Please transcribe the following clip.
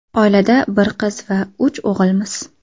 Oilada bir qiz va uch o‘g‘ilmiz.